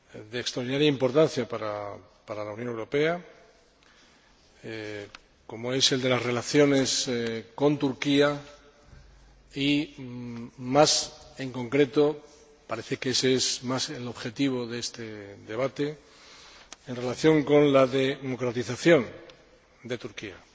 de extraordinaria importancia para la Unión Europea, como es el de las relaciones con Turquía y, más concretamente, parece que ése es más el objetivo de este debate, en relación con la democratización de Turquía.